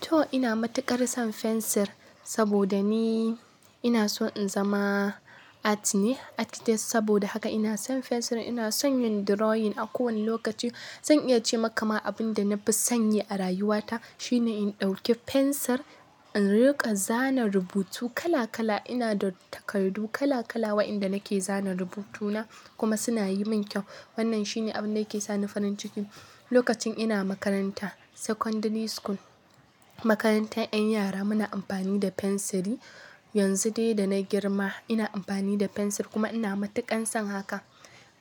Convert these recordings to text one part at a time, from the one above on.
To ina matuƙar son fensir saboda ni ina so in zama art ne, artist. Saboda haka ina son fensir. Ina son yin drawing a kowane lokaci. Zan iya ce maka ma abin da na fi sanyi a rayuwata shine in ɗauke fensir, in riƙa zana rubutu kala kala. Ina da takardu kala kala waɗanda nake zana rubutuna kuma suna yi min kyau. Wannan shine abin da yake sa ni farin ciki. Lokacin ina makarantar secondary school, makarantar 'yan yara, muna amfani da fensiri. Yanzu dai da na girma ina amfani da fensir kuma ina matuƙan son haka.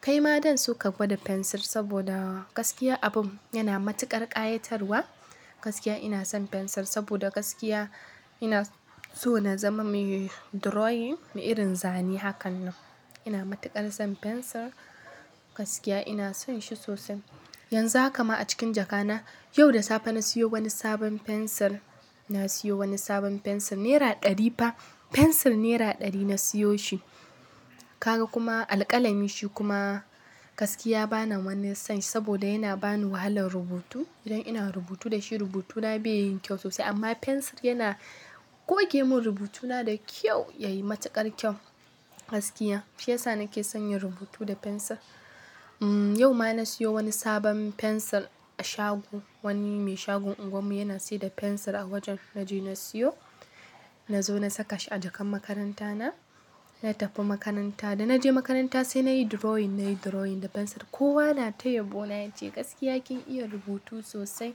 Kai ma zan so ka gwada fensir saboda gaskiya abun yana matuƙar ƙayatarwa. Gaskiya ina son fensir saboda gaskiya ina so na zama mai drawing, mai irin zane hakan nan. Ina matuƙar son fensir. Gaskiya ina son shi sosai. Yanzu haka ma a cikin jaka na, yau da safe na siyo wani sabon fensir. Na siyo wani sabon fensir. Naira ɗari fa. Fensir naira ɗari na siyo shi. Kaga kuma alƙalami shi kuma gaskiya ba na wani son shi saboda yana ba ni wahalar rubutu. Idan ina rubutu da shi rubutuna bai yi kyau sosai amma fensir yana goge mun rubutuna da kyau, ya yi matuƙar kyau. Gaskiya shi yasa nake son yin rubutu da fensir. Umm, yau ma na siyo wani sabon fensir a shago. Wani mai shagon unguwarmu yana saida fensir a wajen na je na siyo. Na zo na saka shi a jakan makarantana, na tafi makaranta. Da na je makaranta sai na yi drawing. Na yi drawing da fensir. Kowa na tayaɓo na ya ce gaskiya kin iya rubutu sosai.